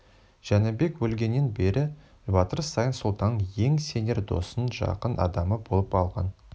жәнібек өлгеннен бері батыр саян сұлтанның ең сенер досы жақын адамы болып алған